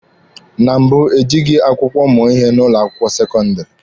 Na mbụ, ejịghị akwụkwọ mụọ ihe n'ụlọ akwụkwọ sekọndịrị.